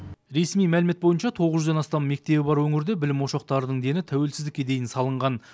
ресми мәлімет бойынша тоғыз жүзден астам мектебі бар өңірде білім ошақтарының дені тәуелсіздікке дейін салынған